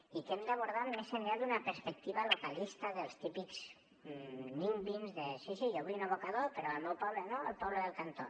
i que hem d’abordar més enllà d’una perspectiva localista dels típics nimby sí sí jo vull un abocador però al meu poble no al poble del cantó